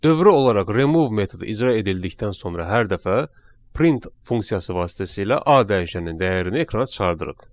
Dövrü olaraq remove metodu icra edildikdən sonra hər dəfə print funksiyası vasitəsilə a dəyişənin dəyərini ekrana çıxardırıq.